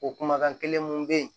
O kumakan kelen mun bɛ yen